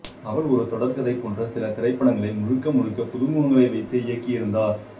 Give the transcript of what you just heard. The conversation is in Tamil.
அவள் ஒரு தொடர்கதை போன்ற சில திரைப்படங்களை முழுக்க முழுக்க புதுமுகங்களை வைத்தே இயக்கியிருந்தார்